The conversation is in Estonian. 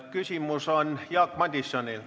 Küsimus on Jaak Madisonil.